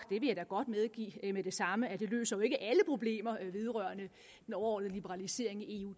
det vil jeg da godt medgive med det samme at det løser alle problemer vedrørende den overordnede liberalisering i eu